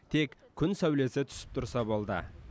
тек күн сәулесі түсіп тұрса болды